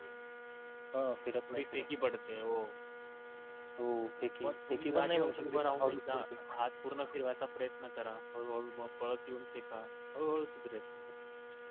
हाथ पूर्ण फिरवायचा प्रयत्न करा हळू हळू मग पळत येऊन फेका हळू हळू